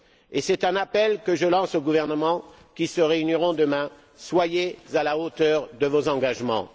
Et c'est un appel que je lance aux gouvernements qui se réuniront demain soyez à la hauteur de vos engagements!